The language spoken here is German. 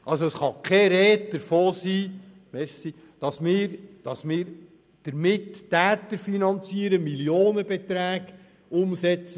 Es kann also keine Rede davon sein, dass wir damit die Täter finanzieren und Millionenbeträge umsetzen.